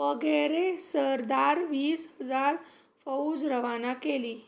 वगैरे सरदार वीस हजार फौज रवाना केली